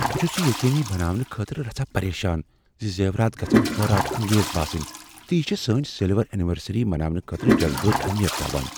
بہٕ چھس یہ یقینی بناونہٕ خٲطرٕ رژھاہ پریشان ز زیورات گژھن حٲرات انگیز باسٕنۍ تہٕ چھ سٲنۍ سلور اٮ۪نورسری مناونہٕ خٲطرٕ جذبٲتی اہمیت تھاوان۔